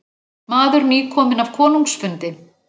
Maður nýkominn af konungsfundi.